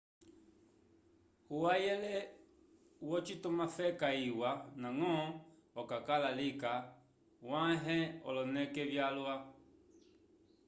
uhayele wocitumafeka iwa ndañgo okakala lika wãhe oloneke vyalwa